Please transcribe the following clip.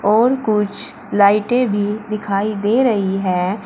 और कुछ लाइटें भी दिखाई दे रही हैं।